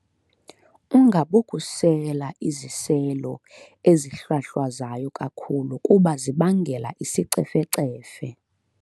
Ungabokusela iziselo ezihlwahlwazayo kakhulu kuba zibangela isicefecefe.